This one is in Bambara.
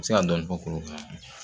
U bɛ se ka dɔɔni fɔ kuru